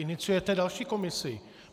Iniciujete další komisi.